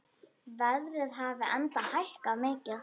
Verðið hafi enda hækkað mikið.